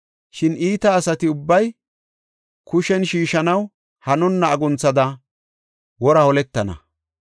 Shin iita asati ubbay kushen shiishanaw hanonna agunthada wora holetana.